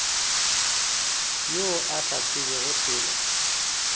yo a sa tsebego selo